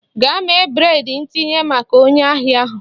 Gaa mee breịd ntinye maka onye ahịa ahụ!